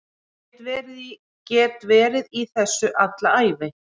Get verið í þessu alla ævi